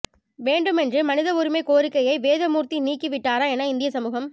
வேண்டுமென்றே மனித உரிமைக் கோரிக்கையை வேதமூர்த்தி நீக்கி விட்டாரா என இந்திய சமூகம்